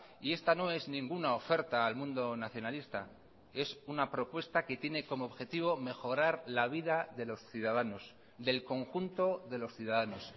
y esta no es ninguna oferta al mundo nacionalista es una propuesta que tiene como objetivo mejorar la vida de los ciudadanos del conjunto de los ciudadanos